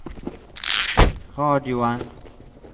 radioen